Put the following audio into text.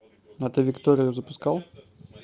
отель виктория запускал